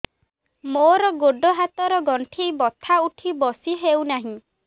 ମୋର ଗୋଡ଼ ହାତ ର ଗଣ୍ଠି ବଥା ଉଠି ବସି ହେଉନାହିଁ